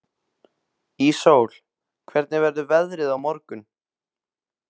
Íssól, hvernig verður veðrið á morgun?